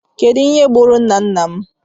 Kedụ ihe gburu nna nna m?